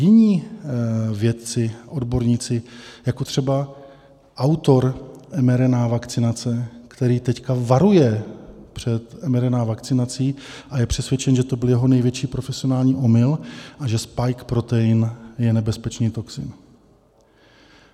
Jiní vědci, odborníci, jako třeba autor mRNA vakcinace, který teď varuje před mRNA vakcinací a je přesvědčen, že to byl jeho největší profesionální omyl a že spike protein je nebezpečný toxin.